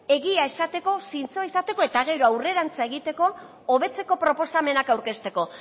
egia esateko zintzoa izateko eta gero aurrerantz egiteko hobetzeko proposamenak aurkezteko